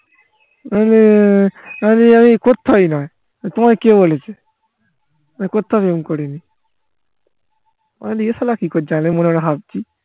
আআমি আমি কোত্থাইনা তোমাকে কে বলেছে আমি কোত্থাও প্রেম করি নি এ shala কি করছে আমি মনেহয়